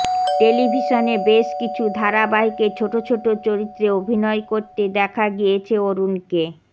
টেলিভিশনে বেশ কিছু ধারাবাহিকে ছোট ছোট চরিত্রে অভিনয় করতে দেখা গিয়েছে অরুণকে